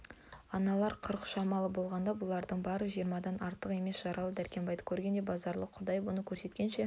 аналар қырық шамалы болғанда бұлардың бары жиырмадан артық емес жаралы дәркембайды көргенде базаралы құдай бұны көрсеткенше